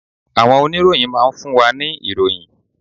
Àwọn oníròyìn máa ń fún wa ní ìròyìn.